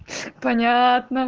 понятно